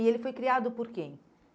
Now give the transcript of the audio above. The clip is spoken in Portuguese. E ele foi criado por quem?